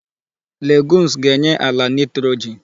Legumes ga-enye àla nitrogen.